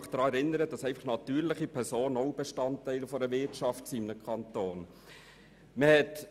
Ich möchte daran erinnern, dass natürliche Personen auch Bestandteile der Wirtschaft eines Kantons sind.